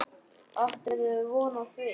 Áttirðu von á því?